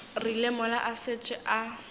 rile mola a šetše a